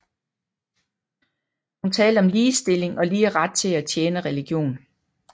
Hun talte om ligestilling og lige ret til at tjene religion